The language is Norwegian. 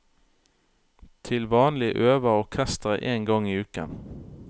Til vanlig øver orkesteret én gang i uken.